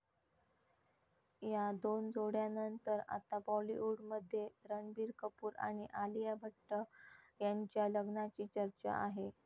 या दोन जोड्यानंतर आता बॉलिवूडमध्ये रणबीर कपूर आणि आलिया भट्ट यांच्या लग्नाची चर्चा आहे.